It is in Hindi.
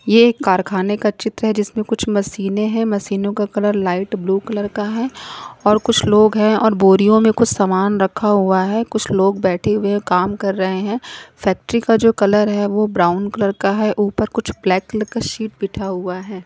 ये एक कारखाने का चित्र है जिसमें कुछ मशीने हैं मशीनों का कलर लाइट ब्लू कलर का है और कुछ लोग हैं और बोरियों में कुछ सामान रखा हुआ है कुछ लोग बैठे हुए काम कर रहे हैं फैक्ट्री का जो कलर है वो ब्राउन कलर का है ऊपर कुछ ब्लैक कलर का शीट बिठा हुआ है।